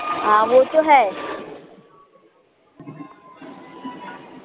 हा वो तो है l